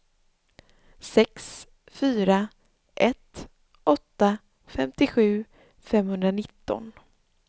sex fyra ett åtta femtiosju femhundranitton